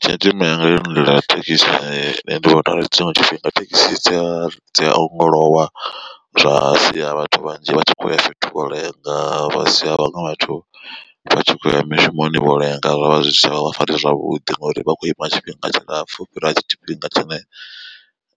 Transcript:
Tshenzhemo yanga yo lindela thekisi nṋe ndi vhona uri tshiṅwe tshifhinga thekhisi dzi a ongolowa zwa sia vhathu vhanzhi vha tshi khoya fhethu u lenga vha sia vhaṅwe vhathu vhatshi kho uya mishumoni vho lenga zwa vha zwi si tshavha vha fari zwavhuḓi ngori vha khou ima tshifhinga tshilapfu u fhira tshifhinga tshine